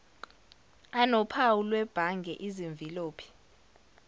anophawu lwebhange izimvilophi